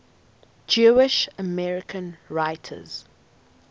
jewish american writers